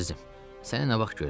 Əzizim, səni nə vaxt görəcəm?